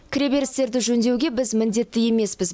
кіреберістерді жөндеуге біз міндетті емеспіз